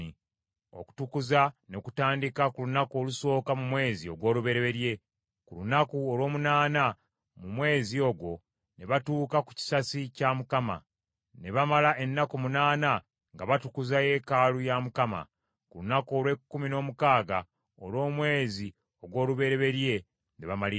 Okutukuza ne kutandika ku lunaku olusooka mu mwezi ogw’olubereberye; ku lunaku olw’omunaana mu mwezi ogwo ne batuuka ku kisasi kya Mukama . Ne bamala ennaku munaana nga batukuza yeekaalu ya Mukama ; ku lunaku olw’ekkumi n’omukaaga olw’omwezi ogw’olubereberye ne bamaliriza.